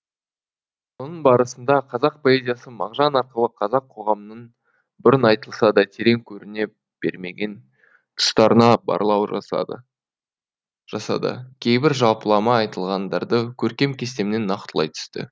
соның барысында қазақ поэзиясы мағжан арқылы қазақ қоғамының бұрын айтылса да терең көріне бермеген тұстарына барлау жасады жасады кейбір жалпылама айтылғандарды көркем кестемен нақтылай түсті